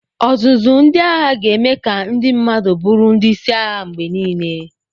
Ọzụzụ ndị agha ga-eme ka ndị mmadụ bụrụ ndị isi agha mgbe niile.